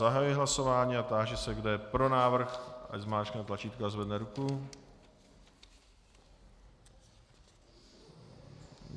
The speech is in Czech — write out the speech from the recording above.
Zahajuji hlasování a táži se, kdo je pro návrh, ať zmáčkne tlačítko a zvedne ruku.